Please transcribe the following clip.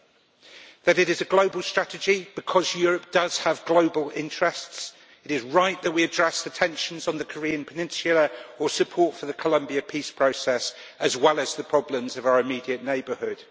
It means that it is a global strategy because Europe does have global interests and it is right that we address the tensions on the Korean peninsula or support for the Columbia peace process, as well as the problems of our immediate neighbourhood.